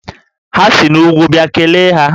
Ha si n'úgwú bịa, kelee ha!